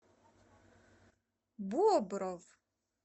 бобров